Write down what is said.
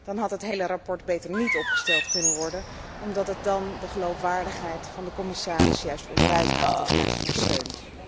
Dan had het hele verslag beter niet opgesteld kunnen worden, omdat het dan de geloofwaardigheid van de commissaris juist onderuit haalt, in plaats van steunt.